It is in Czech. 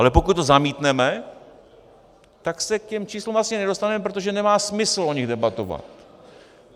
Ale pokud to zamítneme, tak se k těm číslům asi nedostaneme, protože nemá smysl o nich debatovat.